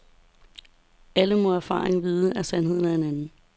Alle må af erfaring vide, at sandheden er en anden.